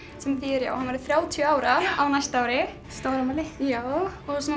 sem þýðir að hann verður þrjátíu ára á næsta ári stórafmæli já